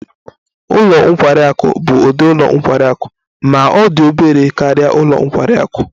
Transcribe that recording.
Ụlọ nkwari akụ bụ ụdị ụlọ nkwari akụ ma ọ dị obere karịa ụlọ nkwari akụ